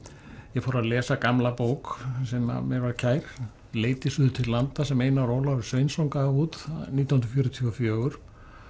ég fór að lesa gamla bók sem mér var kær leit eg suður til landa sem Einar Ólafur Sveinsson gaf út nítján hundruð fjörutíu og fjögur